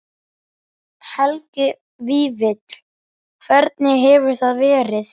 Helgi Vífill: Hvernig hefur það verið?